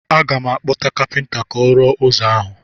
Aga m akpọta kapịnta ka ọ rụọ ụzọ ahụ.